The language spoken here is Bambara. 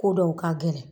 Ko dɔw ka gɛlɛn